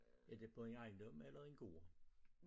Er det på en ejendom eller en gård?